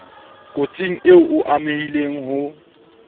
kotsing eo o amehileng ho